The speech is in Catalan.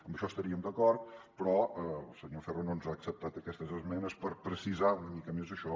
amb això estaríem d’acord però el senyor ferro no ens ha acceptat aquestes esmenes per precisar una mica més això